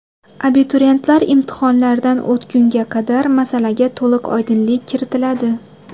Abituriyentlar imtihonlardan o‘tgunga qadar masalaga to‘liq oydinlik kiritiladi.